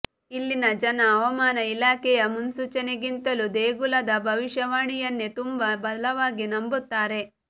ಇಲ್ಲಿನ ಜನ ಹವಾಮಾನ ಇಲಾಖೆಯ ಮುನ್ಸೂಚನೆಗಿಂತಲೂ ದೇಗುಲದ ಭವಿಷ್ಯವಾಣಿಯನ್ನೇ ತುಂಬ ಬಲವಾಗಿ ನಂಬುತ್ತಾರೆ